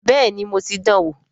Bẹ́ẹ̀ni mo ti dan wò